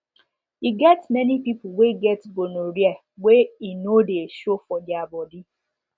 e get many people wey get gonorrhea wey e no de show for their body